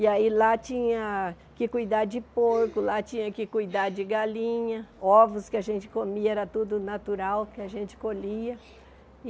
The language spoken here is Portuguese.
E aí lá tinha que cuidar de porco, lá tinha que cuidar de galinha, ovos que a gente comia, era tudo natural que a gente colhia.